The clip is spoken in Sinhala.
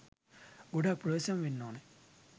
ගොඩාක් ප්‍රවේසම් වෙන්න ඕන.